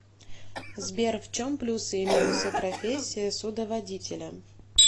сбер в чем плюсы и минусы профессии судоводителя